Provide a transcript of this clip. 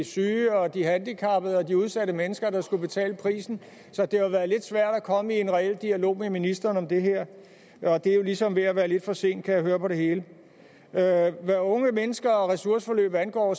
syge og de handicappede og de udsatte mennesker der skulle betale prisen så det har været lidt svært at komme i en reel dialog med ministeren om det her og det er jo ligesom ved at være lidt for sent kan jeg høre på det hele hvad unge mennesker og ressourceforløb angår